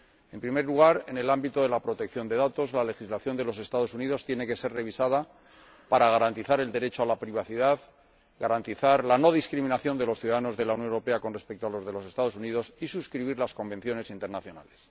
En primer lugar, en el ámbito de la protección de datos, la legislación de los Estados Unidos tiene que ser revisada para garantizar el derecho a la privacidad, garantizar la no discriminación de los ciudadanos de la Unión Europea con respecto a los de los Estados Unidos y suscribir las convenciones internacionales.